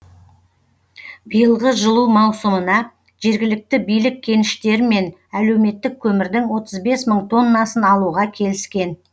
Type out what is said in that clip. биылғы жылу маусымына жергілікті билік кеніштермен әлеуметтік көмірдің отыз бес мың тоннасын алуға келіскен